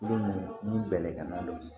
ni bɛlɛgɛnna bɛ